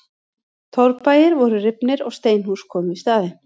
Torfbæir voru rifnir og steinhús komu í staðinn.